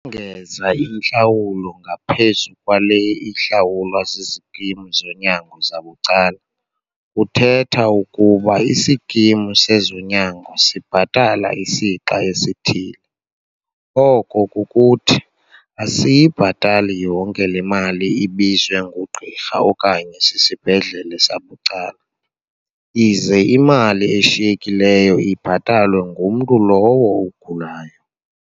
Ukongeza intlawulo ngaphezu kwale ihlawulwa zizikimu zonyango zabucala kuthetha ukuba isikimu sezonyango sibhatala isixa esithile, oko kukuthi, asiyibhatali yonke le mali ibizwe ngugqirha okanye sisibhedlela sabucala, ize imali eshiyekileyo ibhatalwe ngumntu lowo ugulayo.